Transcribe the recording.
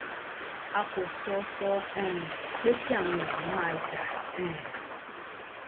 a kò sọ sọ um pé kí àwọn èèyàn máa jà um